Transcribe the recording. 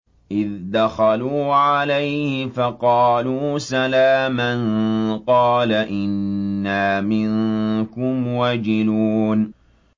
إِذْ دَخَلُوا عَلَيْهِ فَقَالُوا سَلَامًا قَالَ إِنَّا مِنكُمْ وَجِلُونَ